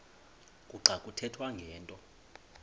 kuxa kuthethwa ngento